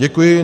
Děkuji.